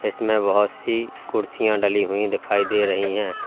इसमें बोहोत सी कुर्सियां डली हुई दिखाई दे रही हैं।